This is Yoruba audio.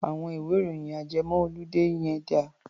Àwọn ìwé-ìròyìn ajẹmọ-oludé yẹn dà?